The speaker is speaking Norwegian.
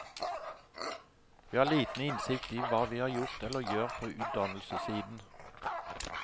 Vi har liten innsikt i hva vi har gjort eller gjør på utdannelsessiden.